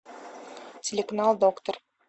телеканал доктор